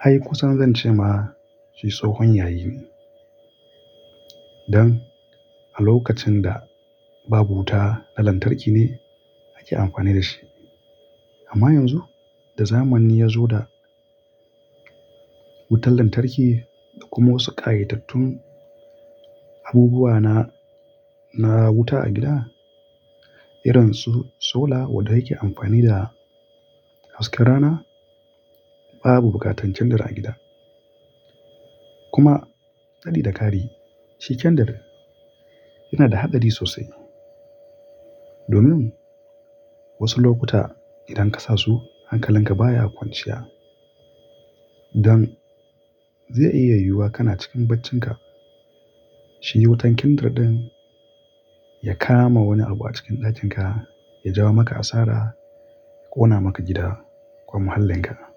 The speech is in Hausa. ai kusan zan ce ma shi tsohon yayi ne. Don a lokacin da babu wuta na lantarki ne ake amfani da shi. Amma yanzu da zamani ya zo da wutar lantarki da kuma wasu ƙayatattun abubuwa na, na wuta a gida, irin su sola wanda yake amfani da hasken rana, babu buƙatar kendir a gida. Kuma daɗi da kari, shi kendir yana da haɗari sosai. Domin wasu lokuta idan ka sasu hankalinka baya kwanciya don zai iya yiwuwa kana cikin baccinka shi wutan kendir ɗin ya kama wani abu a cikin ɗakin ka, ya jawo maka asara, ya ƙona maka gida ko muhallin ka.